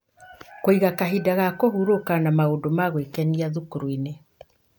Kũiga kahinda ga kũhurũka na maũndũ ma gwĩkenia thukuru-inĩ